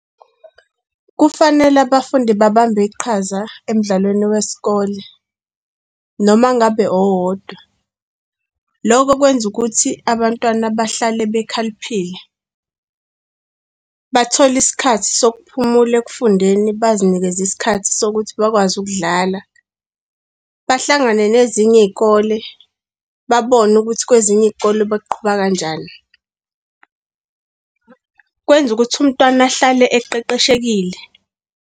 Kufanele abafundi babambe iqhaza emidlalweni wesikole, noma ngabe owodwa. Lokho okwenza ukuthi abantwana bahlale bekhaliphile, bathole isikhathi sokuphumula ekufundeni, bazinikeze isikhathi sokuthi bakwazi ukudlala, bahlangane nezinye iy'kole, babone ukuthi kwezinye iy'kole beqhuba kanjani. Kwenza ukuthi umntwana ahlale eqeqeshekile.